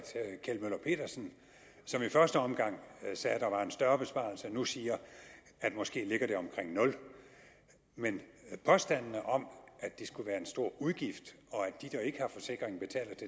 kjeld møller pedersen som i første omgang sagde at der var en større besparelse nu siger at det måske ligger omkring nul men påstandene om at det skulle være en stor udgift og at de der ikke har forsikring